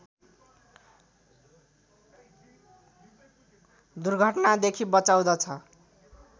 दुर्घटनादेखि बचाउँदछ